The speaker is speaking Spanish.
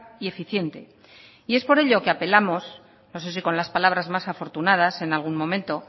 y eficiente y es por ello que apelamos no sé si con las palabras más afortunadas en algún momento